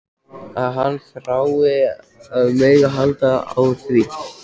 Að hann þrái að mega halda á því.